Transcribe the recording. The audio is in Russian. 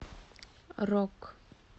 рок